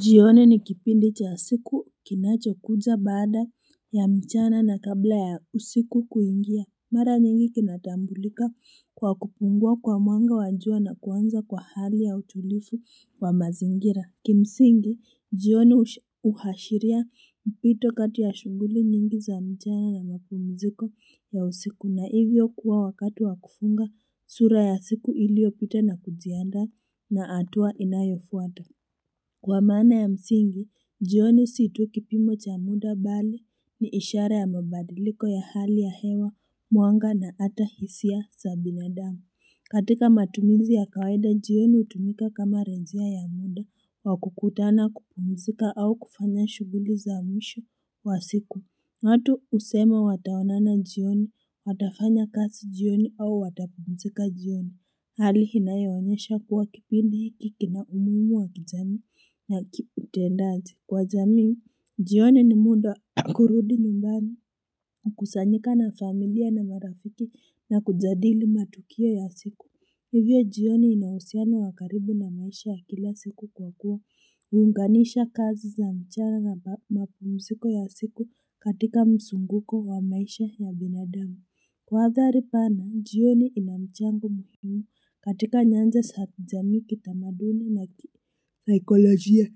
Jioni ni kipindi cha siku kinacho kuja baada ya mchana na kabla ya usiku kuingia. Mara nyingi kinatambulika kwa kupungua kwa mwanga wa jua na kuanza kwa hali ya utulivu wa mazingira. Kimsingi, jioni huashiria mpito kati ya shughuli nyingi za mchana na mapumziko ya usiku na hivyo kuwa wakati wa kufunga sura ya siku iliopita na kujiandaa na hatua inayofuata Kwa maana ya msingi, jioni si tu kipimo cha muda bali ni ishara ya mabadiliko ya hali ya hewa, mwanga na ata hisia za binadamu. Katika matumizi ya kawaida, jioni hutumika kama rejea ya muda, wa kukutana kupumizika au kufanya shughuli za mwisho wa siku. Watu husema wataonana jioni, watafanya kazi jioni au watapumzika jioni. Hali inayoonyesha kuwa kipindi hiki kina umuhimu wa kijamii na kiutendaji kwa jamii. Jioni ni muda kurudi nyumbani, kukusanyika na familia na marafiki na kujadili matukio ya siku. Hivyo jioni ina uhusiano wa karibu na maisha ya kila siku kwa kuwa, hunganisha kazi za mchana na mapumziko ya siku katika msunguko wa maisha ya binadamu. Kwa adhari pana, jioni ina mchango muhimu katika nyanja za jamii kitamaduni na kisaikolojia.